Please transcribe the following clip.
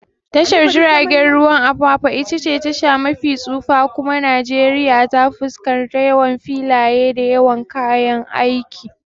Tashar jiragen ruwan Apapa itace tasha mafi tsufa kuma girma a Najeriya ta fuskar yawan filaye da yawan kayan aiki.